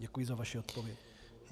Děkuji za vaši odpověď.